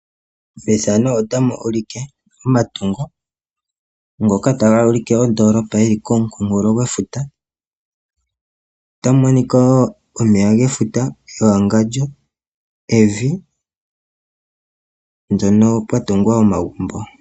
omatungo ngoka taga ulike ondoolopa yili ko munkunkulo gwe futa. Otamu Monika wo omeya ge futa me wangandjo, evi lyono pwa tungwa omagumbo.